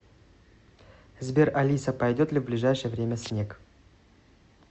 сбер алиса пойдет ли в ближайшее время снег